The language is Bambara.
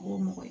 O ye mɔgɔ